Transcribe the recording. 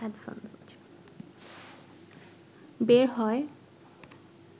বের হয়।